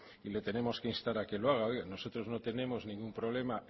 y le tenemos que instar a que lo haga nosotros no tenemos ningún problema